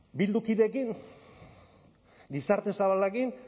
bildu kideekin gizarte zabalarekin